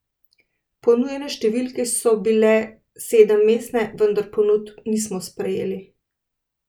Ponujene številke so bile sedemmestne, vendar ponudb nismo sprejeli.